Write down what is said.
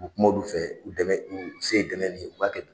U kuma olu fɛ u u se ye dɛmɛ min ye u b'a kɛ.